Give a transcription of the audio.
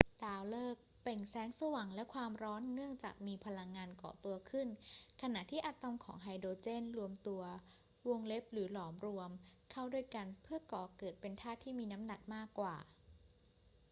ดาวฤกษ์เปล่งแสงสว่างและความร้อนเนื่องจากมีพลังงานก่อตัวขึ้นขณะที่อะตอมของไฮโดรเจนรวมตัว หรือหลอมรวม เข้าด้วยกันเพื่อก่อเกิดเป็นธาตุที่มีน้ำหนักมากกว่า